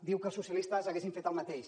diu que els socialistes hauríem fet el mateix